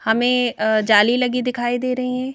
हमें अ जाली लगी दिखाई दे रहीं हैं।